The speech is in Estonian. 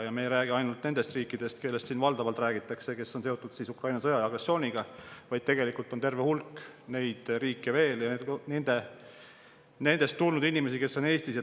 Ma ei räägi ainult nendest riikidest, kellest siin valdavalt räägitakse, kes on seotud Ukraina sõja ja agressiooniga, vaid tegelikult on neid riike veel terve hulk ja nendest on tulnud inimesi Eestisse.